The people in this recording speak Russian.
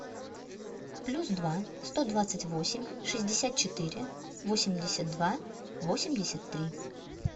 плюс два сто двадцать восемь шестьдесят четыре восемьдесят два восемьдесят три